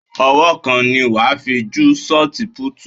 Ọwọ́ kan ni wàá fi ju ṣọt púùtù.